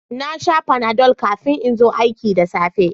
Na sha Panadol kafin in zo aiki da safe